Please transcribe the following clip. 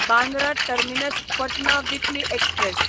Bandra terminus Patna weekly express